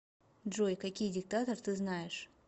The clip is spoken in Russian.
джой какие диктатор ты знаешь